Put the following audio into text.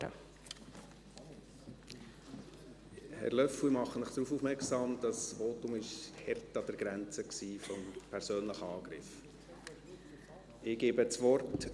Herr Löffel, ich mache Sie darauf aufmerksam, dass dieses Votum hart an der Grenze eines persönlichen Angriffs war.